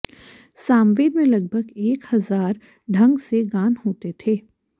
सामवेद में लगभग एक हजार ढंग से गान होते थे